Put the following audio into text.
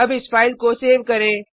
अब इस फाइल को सेव करें